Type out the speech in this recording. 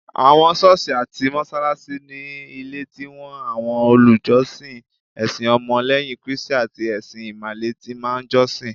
Awon soosi ati mosalasi, ni ilé ti awọn olùjọsìn ẹsìn ọmọ leyin kristi ati ẹṣin imale ti máa n josin